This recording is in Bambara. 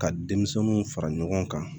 Ka denmisɛnninw fara ɲɔgɔn kan